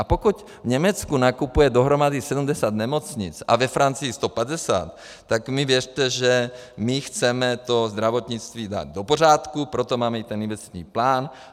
A pokud v Německu nakupuje dohromady 70 nemocnic a ve Francii 150, tak mi věřte, že my chceme to zdravotnictví dát do pořádku, proto máme i ten investiční plán.